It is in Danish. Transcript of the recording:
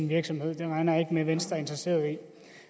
virksomhed og det regner jeg ikke med at venstre er interesseret i